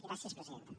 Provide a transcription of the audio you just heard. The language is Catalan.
gràcies presidenta